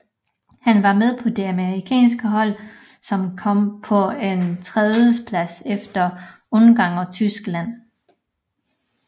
Han var med på det amerikanske hold som kom på en tredjeplads efter Ungarn og Tyskland